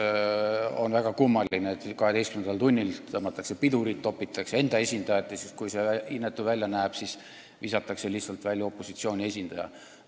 Lihtsalt on väga kummaline, et 12. tunnil tõmmatakse pidurit, topitakse nõukogusse enda esindajat ja kui see inetu välja näeb, siis visatakse lihtsalt välja opositsiooni esindaja.